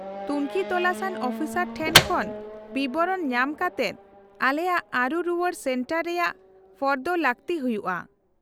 -ᱛᱩᱝᱠᱷᱤ ᱛᱚᱥᱟᱱ ᱟᱱ ᱚᱯᱷᱤᱥᱟᱨ ᱴᱷᱮᱱ ᱠᱷᱚᱱ ᱵᱤᱵᱚᱨᱚᱱ ᱧᱟᱢ ᱠᱟᱛᱮᱫ ᱟᱞᱮᱭᱟᱜ ᱟᱹᱨᱩ ᱨᱩᱣᱟᱹᱲ ᱥᱮᱱᱴᱟᱨ ᱨᱮᱭᱟᱜ ᱯᱷᱚᱨᱫᱚ ᱞᱟᱹᱠᱛᱤ ᱦᱩᱭᱩᱜᱼᱟ ᱾